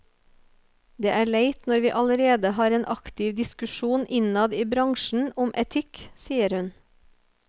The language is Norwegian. Det er leit når vi allerede har en aktiv diskusjon innad i bransjen om etikk, sier hun.